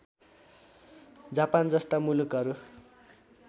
Japan जस्ता मुलुकहरू